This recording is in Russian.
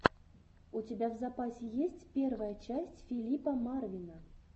у тебя в запасе есть первая часть филипа марвина